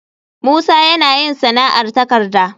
Musa yana yin sana'ar takarda